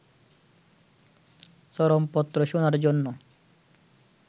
চরমপত্র' শোনার জন্য